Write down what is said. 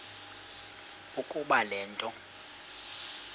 ukuba le nto